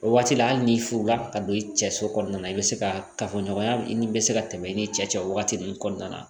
O waati la hali n'i furula ka don i cɛ so kɔnɔna na i bɛ se ka kafoɲɔgɔnya ni bɛ se ka tɛmɛ i ni cɛ wagati min kɔnɔna na